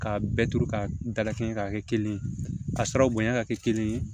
K'a bɛɛ turu ka dala kɛ ɲɛ k'a kɛ kelen ye ka sɔrɔ bonya ka kɛ kelen ye